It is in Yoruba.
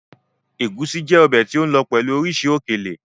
Egúsí jẹ́ ọbẹ̀ tí ó lọ pẹ̀lú oríṣìí òkèlè.